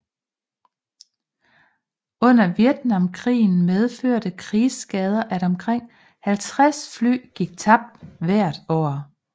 Under Vietnamkrigen medførte krigsskader at omkring 50 fly gik tabt hvert år